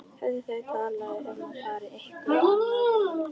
Höfðu þau talað um að fara á einhvern annan veitingastað?